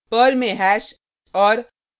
Perl में hash और